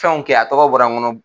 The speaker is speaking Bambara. Fɛnw kɛ a tɔgɔ bɔra n kɔnɔ.